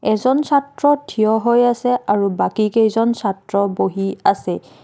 এজন ছাত্ৰ থিয় হৈ আছে আৰু বাকী কেইজন ছাত্ৰ বহি আছে।